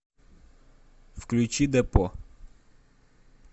включи депо